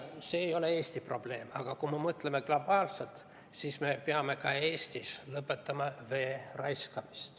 See ei ole Eesti probleem, aga kui me mõtleme globaalselt, siis me peame ka Eestis lõpetama vee raiskamise.